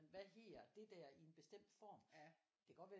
Hvad hedder det der i en bestemt form det kan godt være